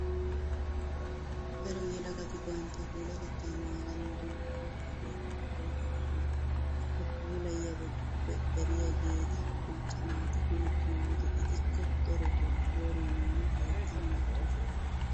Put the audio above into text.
Daro yelagati bantta puulatettaa naaganawu dumma dumma alleeqota go"ettoosona. Ha puulattiyibatuppe dariyageeta macca naati go"ettiyo wode etikka darotoo qooriyaninne hayttan wottoosona.